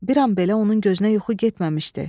Bir an belə onun gözünə yuxu getməmişdi.